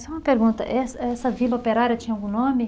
Só uma pergunta, essa essa vila operária tinha algum nome?